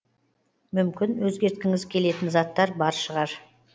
мүмкін өзгерткіңіз келетін заттар бар шығар